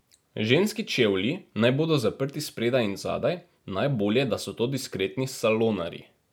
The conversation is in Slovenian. Ženski čevlji naj bodo zaprti spredaj in zadaj, najbolje, da so to diskretni salonarji.